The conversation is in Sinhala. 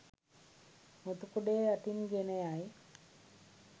මුතු කුඩය යටින් ගෙන යයි.